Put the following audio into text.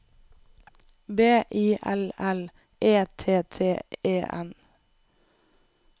B I L L E T T E N